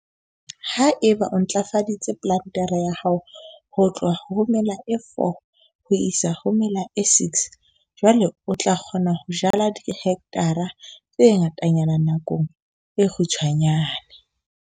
Ha eba o ntlafaditse plantere ya hao ho tloha ho ya mela e 4 ho isa ho ya mela e 6 jwale o tla kgona ho jala dihekthara tse ngatanyana nakong e kgutshwanyane.